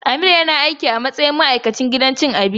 Amir yana aiki a matsayin ma'aikaci a gidan cin abincin City View.